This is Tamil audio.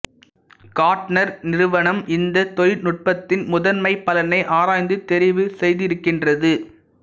கார்ட்னர் நிறுவனம் இந்த தொழில்நுட்பத்தின் முதன்மைப் பலனை ஆராய்ந்து தெரிவு செய்திருக்கின்றது